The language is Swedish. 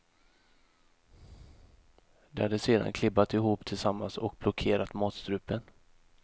De hade sedan klibbat ihop tillsammans och blockerat matstrupen.